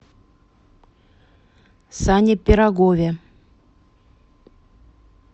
сане пирогове